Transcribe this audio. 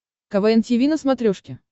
квн тиви на смотрешке